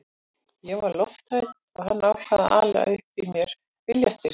Ég var lofthrædd og hann ákvað að ala upp í mér viljastyrk.